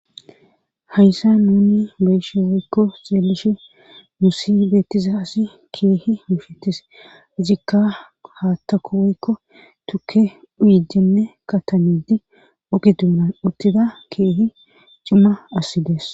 Hayssa nuni beyshe woykko xeelishe musi beettiza asi keehi mushetes ijikka haattaku woykko tukke uyijenne katanidi ugi duunan uttida keehi cima assidees.